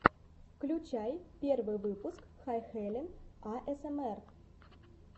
включай первый выпуск хэйхелен аэсэмэр